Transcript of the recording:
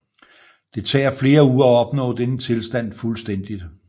Det tager flere uger at opnå denne tilstand fuldstændigt